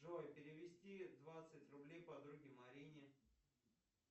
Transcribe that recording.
джой перевести двадцать рублей подруге марине